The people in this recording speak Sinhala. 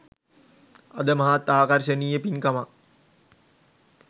අද මහත් ආකර්ශනීය පින්කමක්